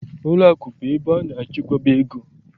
Ụlọakụ bụ ebe a na-echekwaba ego